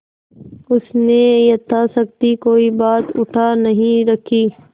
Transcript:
उसने यथाशक्ति कोई बात उठा नहीं रखी